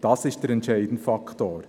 Das ist der entscheidende Faktor.